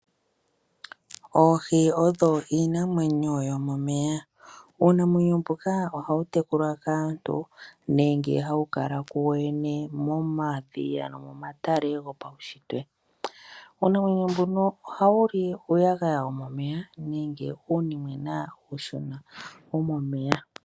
Oohi odho iinamwenyo yomomeya, uunamwenyo mbuka ohawu tekulwa kaantu nenge hawu kal ku wo wene momadhiya nomomatale gopaunshitwe. Uunamwenyo mbuno ohawu li uuyagaya womomeya nenge uunimwena uushona womomeya.